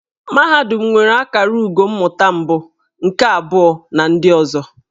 Mahadum nwere akara ugo mmụta mbụ, nke abụọ na ndị ọzọ.